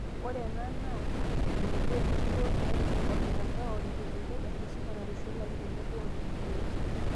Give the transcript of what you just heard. Ore ena naa te enebo, enkikoo naimu ormtandao, irkiliku, enkisuma naitushulaki tenebo o fidioi.